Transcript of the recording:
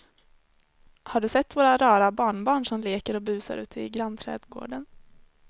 Har du sett våra rara barnbarn som leker och busar ute i grannträdgården!